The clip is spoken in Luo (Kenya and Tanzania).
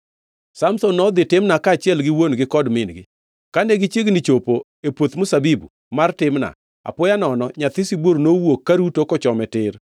Samson nodhi Timna kaachiel gi wuon-gi kod min-gi. Kane gichiegni chopo e puoth mzabibu mar Timna, apoya nono nyathi sibuor nowuok karuto kochome tir.